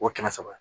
O kɛmɛ saba